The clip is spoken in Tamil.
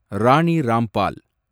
ராணி ராம்பால்